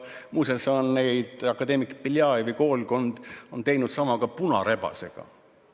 Muuseas on akadeemik Beljajevi koolkond teinud sama ka punarebasega.